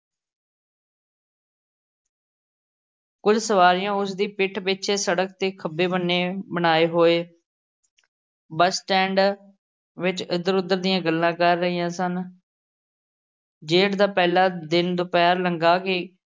ਕੁੱਝ ਸਵਾਰੀਆਂ ਉਸ ਦੀ ਪਿੱਠ ਪਿੱਛੇ ਸੜਕ ਦੇ ਖੱਬੇ ਬੰਨੇ ਬਣਾਏ ਹੋਏ bus stand ਵਿੱਚ ਇੱਧਰ-ਉੱਧਰ ਦੀਆਂ ਗੱਲਾਂ ਕਰ ਰਹੀਆਂ ਸਨ। ਜੇਠ ਦਾ ਪਹਿਲਾ ਦਿਨ ਦੁਪਹਿਰ ਲੰਘਾ ਕੇ